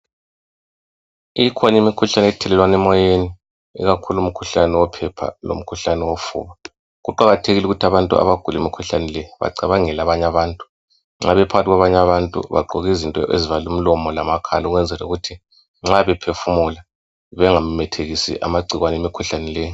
Ikhona imikhuhlane othelelwana emoyeni, ikakhulu umkhuhlane wophepha lomkhuhlane wofuba. Kuqakathekile ukuthi abantu abagula imkhuhlane leyi bacabangele abanye abantu. Nxa bephakathi kwabantu bagqoke izinto ezivala umlomo lamakhala ukwenzela ukuthi nxa bephefumula bengamemethekisi amagcikwane emikhuhlane le.